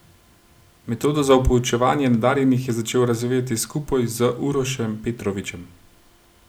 Metodo za poučevanje nadarjenih je začel razvijati skupaj z Urošem Petrovićem.